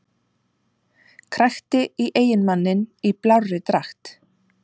Krækti í eiginmanninn í blárri dragt